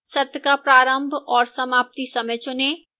सत्र का प्रारंभ और समाप्ति समय चुनें